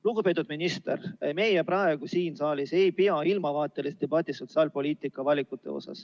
Lugupeetud minister, meie praegu siin saalis ei pea ilmavaatelist debatti sotsiaalpoliitiliste valikute üle.